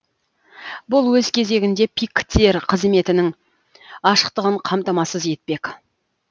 бұл өз кезегінде пик тер қызметінің ашықтығын қамтамасыз етпек